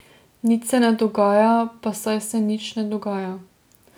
Nič se ne dogaja, pa saj se nič ne dogaja.